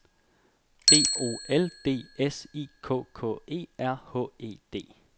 B O L D S I K K E R H E D